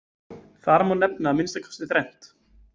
Þar má nefna að minnsta kosti þrennt.